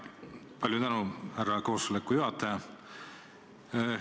Palju tänu, härra koosoleku juhataja!